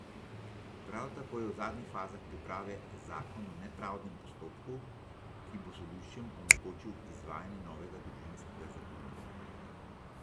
Prav tako je v zadnjih fazah priprave zakon o nepravdnem postopku, ki bo sodiščem omogočil izvajanje novega družinskega zakonika.